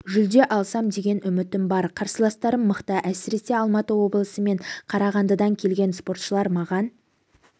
жүлде алсам деген үмітім бар қарсыластарым мықты әсіресе алматы облысы мен қарағандыдан келген спортшылар маған